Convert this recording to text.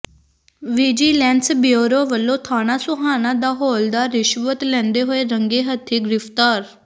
vigilance bureau ਵੱਲੋਂ ਥਾਣਾ ਸੋਹਾਣਾ ਦਾ ਹੌਲਦਾਰ ਰਿਸ਼ਵਤ ਲੈਂਦੇ ਹੋਏ ਰੰਗੇ ਹੱਥੀਂ ਗ੍ਰਿਫ਼ਤਾਰ